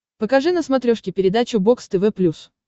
покажи на смотрешке передачу бокс тв плюс